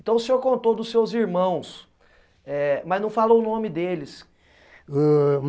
Então o senhor contou dos seus irmãos, eh mas não falou o nome deles. Ãh